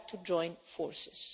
We have to join forces.